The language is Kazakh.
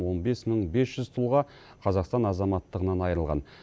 он бес мың бес жүз тұлға қазақстан азаматтығынан айрылған